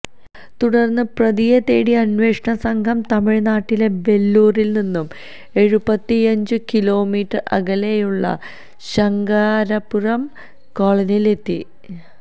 തുടർന്ന് പ്രതിയെ തേടി അന്വേഷണസംഘം തമിഴ്നാട്ടിലെ വെല്ലൂരില് നിന്നു എഴുപത്തിയഞ്ചു കിലോമീറ്റര് അകലെയുള്ള ശങ്കരാപുരം കോളനിയില് എത്തി